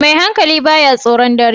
Mai hankali ba ya tsoron dare